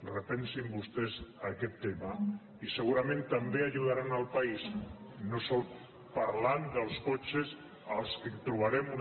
repensin vostès aquest tema i segurament també aju·daran el país no sols parlant dels cotxes per als quals trobarem una